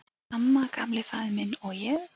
"""Amma, Gamli faðir minn, og ég."""